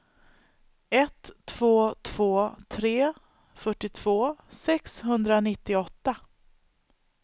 ett två två tre fyrtiotvå sexhundranittioåtta